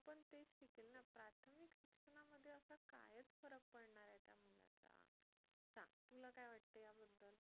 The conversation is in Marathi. तेच शिकेल ना प्राथमिक शिक्षणामध्ये असा काय फरक पडणार आहे त्या मुलाचा सांग तुला काय वाटते याबद्दल